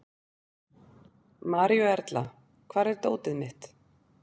Maríuerla, hvar er dótið mitt?